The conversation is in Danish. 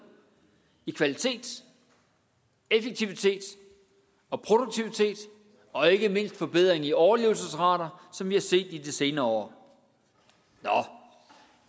i kvalitet effektivitet og produktivitet og ikke mindst forbedring i overlevelsesrater som vi har set i de senere år nå